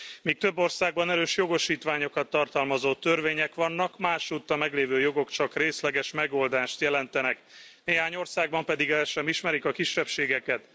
Míg több országban erős jogosítványokat tartalmazó törvények vannak, másutt a meglévő jogok csak részleges megoldást jelentenek, néhány országban pedig el sem ismerik a kisebbségeket.